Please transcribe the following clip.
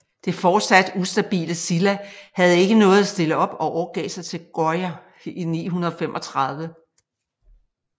Det fortsat ustabile Silla havde ikke noget at stille op og overgav sig til Goryeo i 935